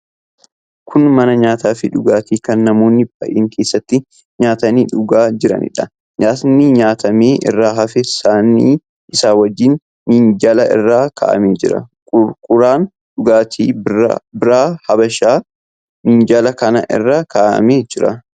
Kun mana nyaataa fi dhugaatii kan namoonni baay'een keessatti nyaatanii dhugaa jiranidha. Nyaatni nyaatamee irraa hafe saanii isaa wajjin minjaala irra kaa'amee jira. Qaruuraan dhugaatii biiraa habeshaas minjaala kana irra kaa'amee jira.